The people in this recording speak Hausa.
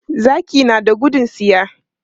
Zaki na da gudun tsiya.